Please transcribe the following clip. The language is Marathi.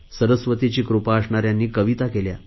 सरस्वतीची कृपा असणाऱ्यांनी कविता केल्या